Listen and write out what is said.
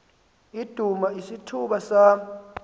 idume isithuba sama